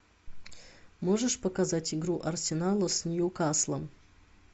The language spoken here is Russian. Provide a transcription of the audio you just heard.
можешь показать игру арсенала с ньюкаслом